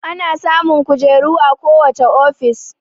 Ana samun kojeru a ko wacce ofishi